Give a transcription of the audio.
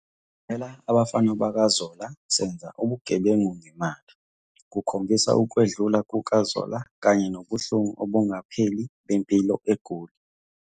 "Qaphela abafana bakaZola, senza ubugebengu ngemali" kukhombisa ukwedlula kukaZola kanye nobuhlungu obungapheli bempilo eGoli.